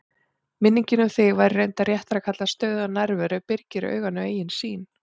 Minningin um þig, sem væri reyndar réttara að kalla stöðuga nærveru, byrgir auganu eigin sýn.